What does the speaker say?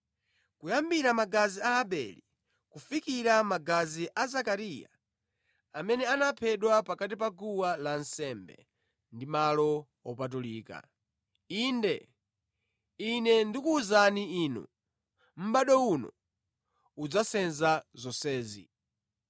kuyambira magazi a Abele kufikira magazi a Zakariya amene anaphedwa pakati pa guwa lansembe ndi malo opatulika. Inde, Ine ndikuwuzani inu, mʼbado uno udzasenza zonsezi.